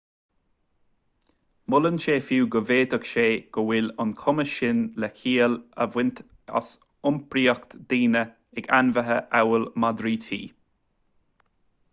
molann sé fiú go bhféadfaidh sé go bhfuil an cumas sin le ciall a bhaint as iompraíocht daoine ag ainmhithe amhail madraí tí